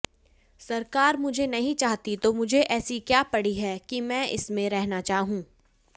सरकार मुझे नहीं चाहती तो मुझे ऐसी क्या पड़ी है कि मैं इसमें रहना चाहूं